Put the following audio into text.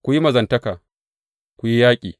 Ku yi mazantaka, ku yi yaƙi.